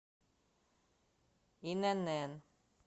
инн